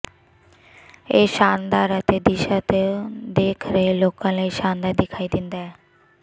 ਇਹ ਸ਼ਾਨਦਾਰ ਅਤੇ ਦਿਸ਼ਾ ਤੋਂ ਦੇਖ ਰਹੇ ਲੋਕਾਂ ਲਈ ਸ਼ਾਨਦਾਰ ਦਿਖਾਈ ਦਿੰਦਾ ਹੈ